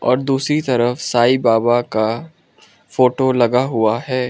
और दूसरी तरफ साई बाबा का फोटो लगा हुआ है।